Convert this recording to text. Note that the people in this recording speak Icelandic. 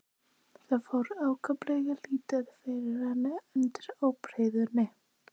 Það fór ákaflega lítið fyrir henni undir ábreiðunni.